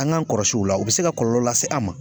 An g'an kɔlɔsi o la be se ka kɔlɔlɔ lase an an ma